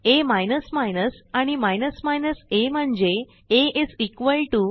आ आणि a म्हणजे आ आ 1